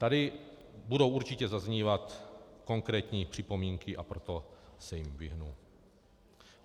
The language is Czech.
Tady budou určitě zaznívat konkrétní připomínky, a proto se jim vyhnu.